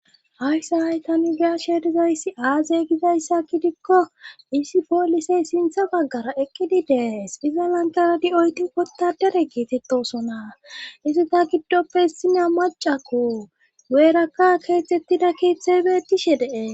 Hayssa hay ta be7ashe dizayssi aazey gizayssa kidikko isi poolisey sintha baggara eqqidi dees iza lanqaradi oyti wota dere kiitettosona isi ta giddoppe hissina macakko guyeerakka keexxettida keeththey beetishe dees.